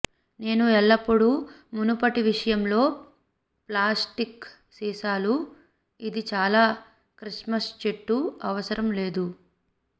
నేను ఎల్లప్పుడూ మునుపటి విషయంలో ప్లాస్టిక్ సీసాలు ఇది చాలా క్రిస్మస్ చెట్టు అవసరం లేదు